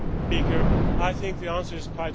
I think the answer is quite simple.